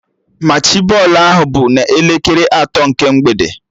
Machị bọọlụ ahụ bụ n'elekere atọ nke mgbede